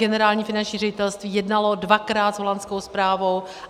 Generální finanční ředitelství jednalo dvakrát s holandskou správou.